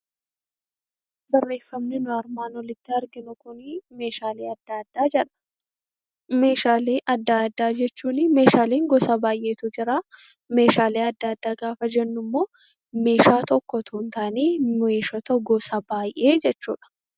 Meeshaalee adda addaa jechuun meeshaaleen gosa baay'eetu jira. Meeshaalee adda addaa gaafa jennu immoo meeshaa tokko osoo hin taane gosoota baay'ee jechuudha.